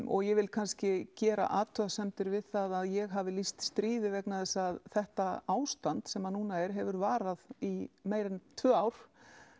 og ég vil kannski gera athugasemdir við það að ég hafi lýst stríði vegna þess að þetta ástand sem núna er hefur varað í meira en tvö ár